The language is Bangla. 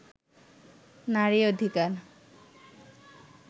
নারী অধিকার